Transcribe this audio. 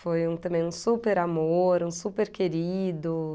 Foi um também um super amor, um super querido.